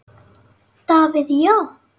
Davíð Já.